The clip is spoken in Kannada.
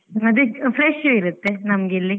ಮತ್ತೆ fresh ಏ ಇರುತ್ತೆ ನಮ್ಗಿಲ್ಲಿ.